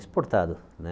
Exportado, né?